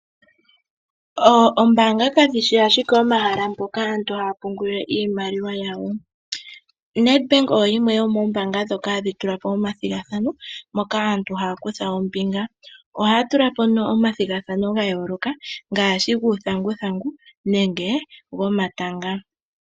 Oombanga kadhishi ashike omahala mpoka aantu hayapungula iimaliwa yawo. Nedbank oyo yimwe yomoombanga dhoka hadhi tulapo oma thigathano moka aantu haya kutya ombinga. Ohaya tulapo nduno oma thigathano gayooloka, ngaashi guu thanguthangu nenge gomayanga.